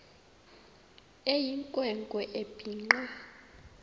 eyinkwe nkwe ebhinqe